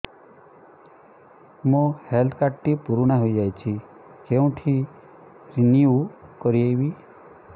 ମୋ health card ଟି ପୁରୁଣା ହେଇଯାଇଛି କେଉଁଠି ରିନିଉ କରିବି